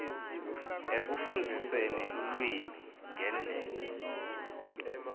ekufundziseni lulwimi ngendlela